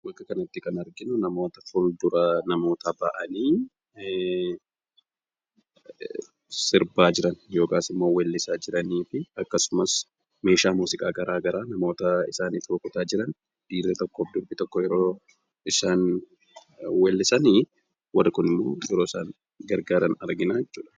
Bakka kanatti immoo kan arginu, namoota fuldura namootaa bahanii sirbaa jiran yookaan immoo weellisaa jiranii fi akkasumas meeshaa muuziqaa garaagaraa namoota isaaniif rukutaa jiran dhiirri tokkoo fi durbi tokko yeroo isaan weellisan warri Kun yeroo isaan gargaaran argina jechuudha.